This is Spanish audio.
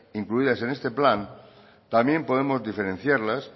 incluidas en este plan también podemos diferenciarlas